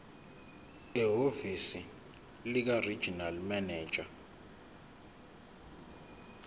ehhovisi likaregional manager